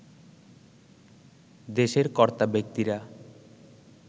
দেশের কর্তাব্যক্তিরা